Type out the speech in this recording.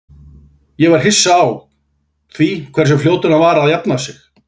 Ég var hissa á því hversu fljótur hann var að jafna sig.